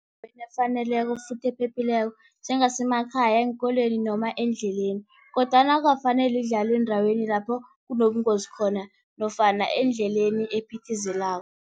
efaneleko futhi ephephileko, njengemakhaya, eenkolweni noma endleleni, kodwana akukafaneli idlalwe eendaweni lapho kunobungozi khona, nofana endleleni ephithizelako.